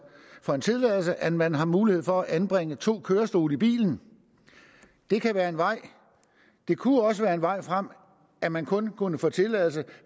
for en tilladelse at man har mulighed for at anbringe to kørestole i bilen det kan være en vej det kunne også være en vej frem at man kun kunne få tilladelse